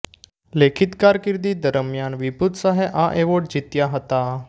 લેખિત કારકિર્દી દરમિયાન વિભુત શાહે આ એવોર્ડ જીત્યા હતા